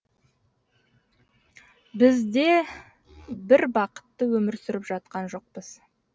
біз де бір бақытты өмір сүріп жатқан жоқпыз